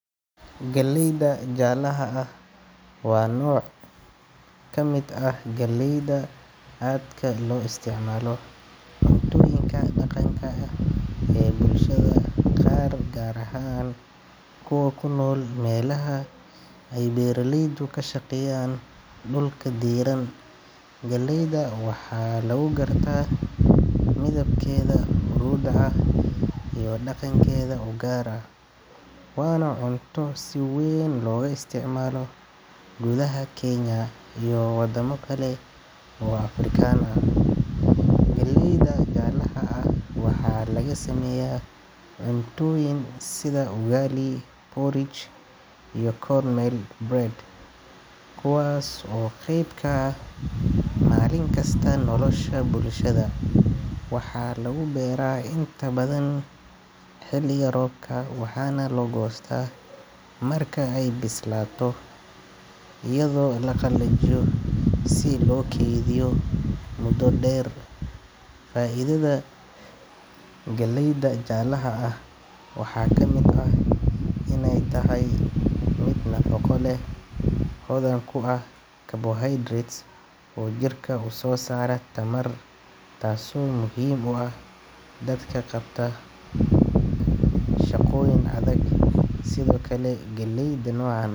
Galleyda jaalaha wa noc kamid aah galleyda aadka lo isticmalo cuntoyinka dhaqanka aah ee bulshada qar ahan kuwa kunool melaha e beraleyda ka shaqeyan dhulka deran galleyda waxa lagu garta midabkeda hurudka iyo dhaqenkeda garka wana cunto si nweyn loga isticmalo kudaha Kenya iyo wadamo bnadan o African ah galleyda jaalaha aah waxa laga sameya cuntoyin sida (ugali) ( porrdige) iyo (cornel bread)i kuwas o qwyb ka aha malinkasta nolosha bulshada waxa lagu bera inta badan xiliga roobka waxana la gosta marka eey bislato iyado la qalajiyo si lo kediyo mudo dher faidada galleyda jaalaha waxa kamid ah iney tahat mid nafaqo leh hodan ku aah (carbohydrates) o jirka u so saro tamar taso muhim u ah dadka qabta shaqoyin adag